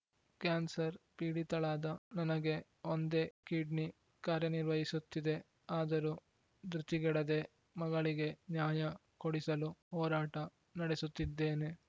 cancer ಪೀಡಿತಳಾದ ನನಗೆ ಒಂದೇ ಕಿಡ್ನಿ ಕಾರ್ಯನಿರ್ವಹಿಸುತ್ತಿದೆ ಆದರೂ ಧೃತಿಗೆಡದೆ ಮಗಳಿಗೆ ನ್ಯಾಯ ಕೊಡಿಸಲು ಹೋರಾಟ ನಡೆಸುತ್ತಿದ್ದೇನೆ